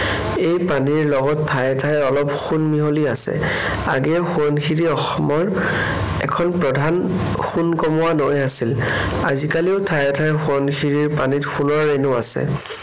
এই পানীৰ লগত ঠায়ে ঠায়ে অলপ সোণ মিহলি আছে। আগেয়ে সোৱণশিৰী অসমৰ এখন প্ৰধান সোণ কমোৱা নৈ আছিল। আজিকালিও ঠায়ে ঠায়ে সোৱণশিৰীৰ পানীত সোণৰ ৰেণু আছে।